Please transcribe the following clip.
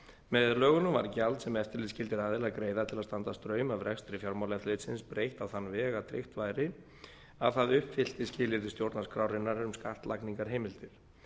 með lögunum var gjald sem eftirlitsskyldir aðilar greiða til að standa straum af rekstri fjármálaeftirlitsins breytt á þann veg að tryggt væri að það uppfyllti skilyrði stjórnarskrárinnar um skattlagningarheimildir